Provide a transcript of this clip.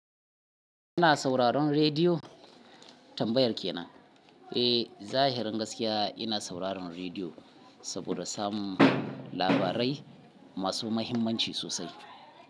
Kuna sauraron rediyo? Tambayar kenan. Eh, zahirin gaskiya ina sauraron rediyo saboda samun labarai masu muhimmanci sosai.